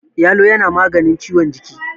yalo yana maganin ciwon jiki